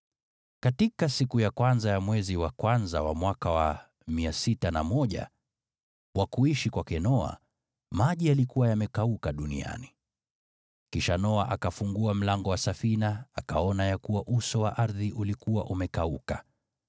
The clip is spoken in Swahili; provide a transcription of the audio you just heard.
Katika siku ya kwanza ya mwezi wa kwanza ya mwaka 601, wa kuishi kwake Noa, maji yalikuwa yamekauka duniani. Kisha Noa akafungua mlango wa safina akaona ya kuwa uso wa ardhi ulikuwa umekauka.